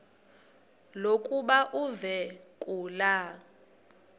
lokuba uve kulaa